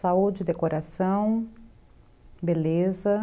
Saúde, decoração, beleza.